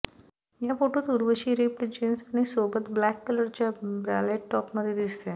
या फोटोत Urvashi ripped jeans आणि सोबत ब्लॅक कलरच्या ब्रालेट टॉपमध्ये दिसतेय